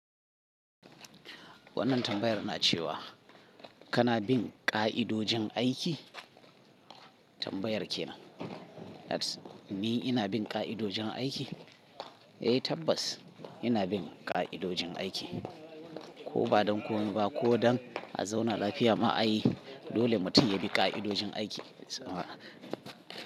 Wannan tambayar na cewa kana bin ƙa'idojin aiki? Tambayar kenan. Ni ina bin ƙa'idojin aiki? Eh tabbas ina bin ƙa'idojin aiki. Ko ba don ko mi ba ko don a zauna lafiya mu ayi dole mutum ya bi ƙa'idojin aiki.